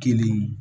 Kelen